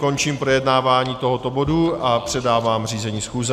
Končím projednávání tohoto bodu a předávám řízení schůze.